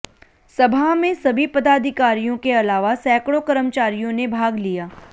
सभा में सभी पदाधिकारियों के अलावा सैकड़ों कर्मचारियों ने भाग लिया